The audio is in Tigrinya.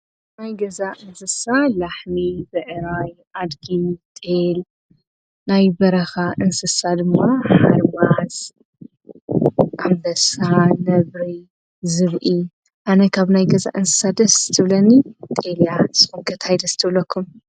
ብናይ ገዛ እንስሳ ላሕሚ በኤራይ ኣድጊ ጠል ናይ በረኻ እንስሳ ድማ ኣልዋዝ ኣበሳ ነብሪ ዝብኢ ኣነ ካብ ናይ ገዛ እንሳ ደስ ትብለኒ ጠልያ ሰወገት ኣይደስተብለኩም።